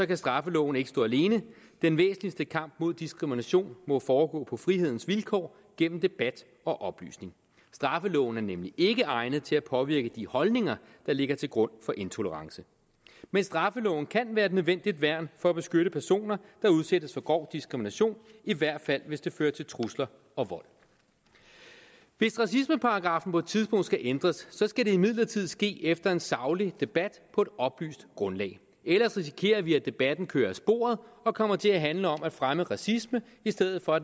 kan straffeloven ikke stå alene den væsentligste kamp mod diskrimination må foregå på frihedens vilkår gennem debat og oplysning straffeloven er nemlig ikke egnet til at påvirke de holdninger der ligger til grund for intolerance men straffeloven kan være et nødvendigt værn for at beskytte personer der udsættes for grov diskrimination i hvert fald hvis det fører til trusler og vold hvis racismeparagraffen på et tidspunkt skal ændres skal det imidlertid ske efter en saglig debat på et oplyst grundlag ellers risikerer vi at debatten kører af sporet og kommer til at handle om at fremme racisme i stedet for